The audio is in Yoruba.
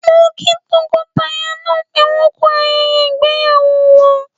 Mo kí tọkọtaya náà pé wọ́n ku ayẹyẹ ìgbéyàwó wọn.